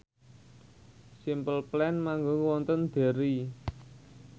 Simple Plan manggung wonten Derry